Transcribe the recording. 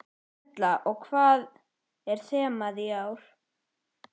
Erla: Og hvað er þemað í ár?